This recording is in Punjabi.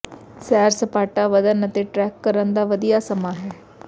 ਸੈਰ ਸਪਾਟਾ ਵਧਣ ਅਤੇ ਟ੍ਰੈਕ ਕਰਨ ਦਾ ਵਧੀਆ ਸਮਾਂ ਹੈ